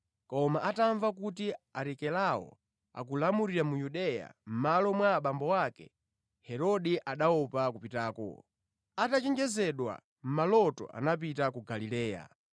Koma atamva kuti Arikelao akulamulira mu Yudeya mʼmalo mwa abambo ake, Herode, anaopa kupitako. Atachenjezedwa mʼmaloto, anapita ku Galileya,